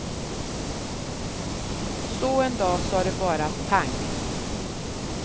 Så en dag sa det bara pang.